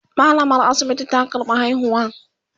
mallamar asibiti ta karɓa haihuwan